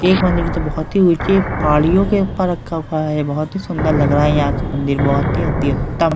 एक मंदिर में तो बहुत ही ऊंची पहाड़ियों के ऊपर रखा हुआ है बहुत ही सुंदर लग रहा है यहाँ के मंदिर बहुत ही अति उत्तम --